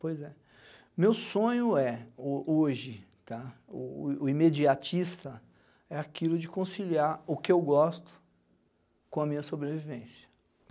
Pois é. Meu sonho hoje, é, o o imediatista, é aquilo de conciliar o que eu gosto com a minha sobrevivência.